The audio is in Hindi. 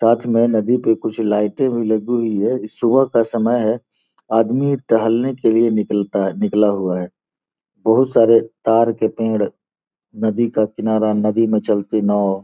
में नदी के कुछ लाइटे भी लगी हुई हैं सुबह का समय है आदमी टहलने के लिए निकलता-निकला हुआ है बहुत सारे तार के पेड़ नदी का किनारा नदी में चलती नावों --